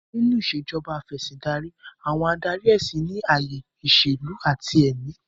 Nínú Ìṣèjọba Af'ẹ̀sìndarí, àwọn adarí ẹ̀sìn ní ayé ìṣèlú àti ti èmí